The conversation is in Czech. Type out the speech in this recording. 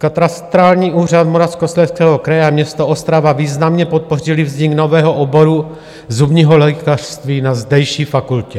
Katastrální úřad Moravskoslezského kraje a město Ostrava významně podpořily vznik nového oboru zubního lékařství na zdejší fakultě.